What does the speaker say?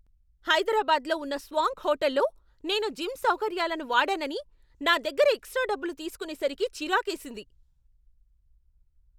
హైదరాబాద్లో ఉన్న స్వాంక్ హోటల్లో నేను జిమ్ సౌకర్యాలను వాడానని నా దగ్గర ఎక్స్ట్రా డబ్బులు తీసుకునేసరికి చిరాకేసింది.